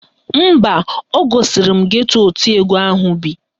Mba, o gosiri m geto oti egwu ahụ bi.